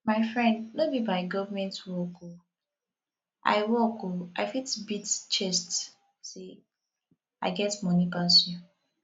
my friend no be by government work oo i work oo i fit beat chest say i get money pass you